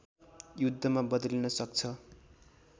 युद्धमा बदलिन सक्छ